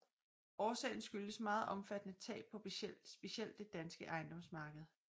Årsagen skyldes meget omfattende tab på specielt det danske ejendomsmarked